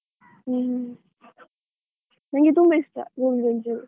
ಹ್ಮ್ ಹ್ಮ್ ನಂಗೆ ತುಂಬಾ ಇಷ್ಟ ಗೋಬಿ ಮಂಚೂರಿ.